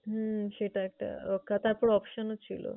হম সেটা একটা রক্ষা তারপর option ও ছিলো।